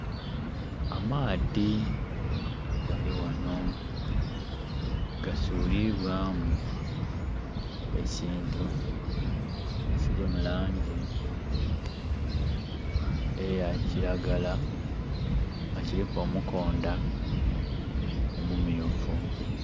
Amaadhi galighano gasulibwamu ekintu ekili mulangi eya kilagala nga kiliku omukonda omu myufu.